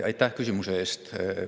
Aitäh küsimuse eest!